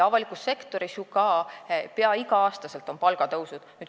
Avalikus sektoris on ju ka peaaegu iga aasta palgatõus.